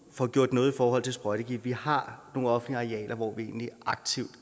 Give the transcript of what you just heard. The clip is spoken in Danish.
får gjort noget i forhold til sprøjtegifte vi har nogle offentlige arealer hvor vi aktivt